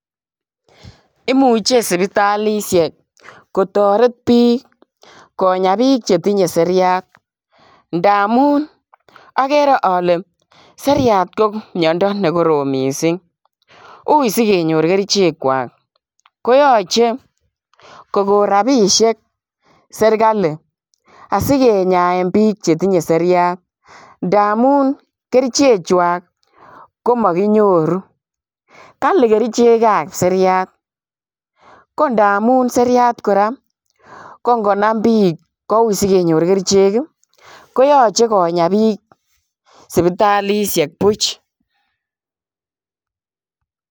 Imuche sipitalisiek kotoret piik konya piik che tinye seriat, ndamun akere ale seriat ko miondo ne korom mising, ui si kenyor kerichekwak ,koyoche kokon rabiisiek Serikali, asi kenyaen piik chetinye seriat, ndamun kerichechwak ko makinyoru. Kali kerichekab seriat ko ndamun seriat kora ko ngonam piik ko ui si kenyor kerichek ii, koyache konya piich sipitalisiek buch.